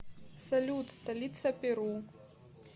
салют столица перу